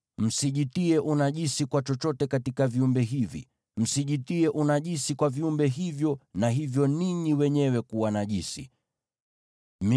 Msijitie unajisi kwa chochote katika viumbe hivi. Msijitie unajisi kwa viumbe hivyo au kutiwa unajisi navyo.